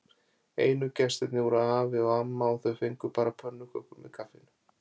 Einu gestirnir voru afi og amma og þau fengu bara pönnukökur með kaffinu.